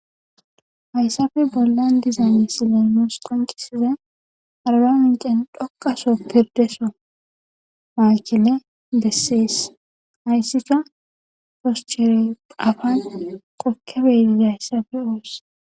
hayssafe bollan diza misile nus qonccissizay arba mincen dhoqa sohon pirdeso maakine bessees hayssika foschere afan kokkibe bgizayssa hayssafe be7oos.